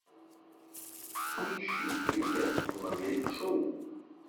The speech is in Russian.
поищи фильмец в манере шоу